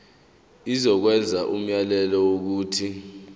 izokwenza umyalelo wokuthi